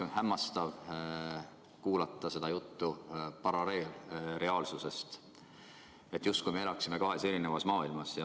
On hämmastav kuulata seda juttu paralleelreaalsusest, me justkui elaksime kahes erinevas maailmas.